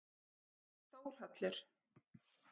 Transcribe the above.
Þórhallur